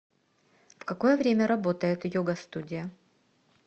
в какое время работает йога студия